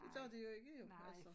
Det gør de jo ikke jo